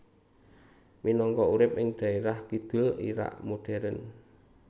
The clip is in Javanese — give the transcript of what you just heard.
Minangka urip ing dhaerah kidul Irak modern